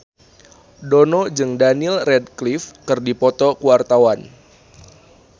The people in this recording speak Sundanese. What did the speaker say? Dono jeung Daniel Radcliffe keur dipoto ku wartawan